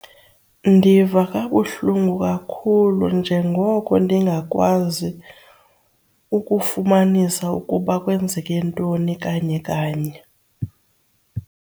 Ndiva kabuhlungu kakhulu njengoko ndingakwazi ukufumanisa ukuba kwenzeke ntoni kanye kanye.